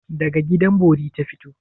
Daga gidan bori ta fito?